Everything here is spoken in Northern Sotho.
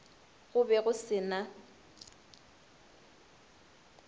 go be go se na